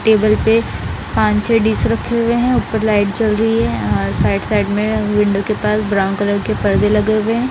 Table में पांच छह डीश रखे हुए हैं उपर लाइट जल रही हैं अ साइड साइड में विंडो के पास ब्राउन कलर के परदे लगे हुए हैं ।